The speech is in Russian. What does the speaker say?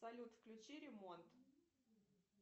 салют включи ремонт